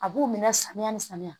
A b'u minɛ samiya ni samiya